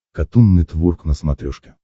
катун нетворк на смотрешке